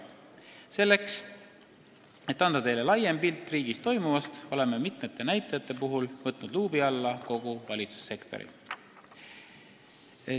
Selleks et anda teile laiem pilt riigis toimuvast, oleme mitme näitaja puhul võtnud luubi alla kogu valitsussektori.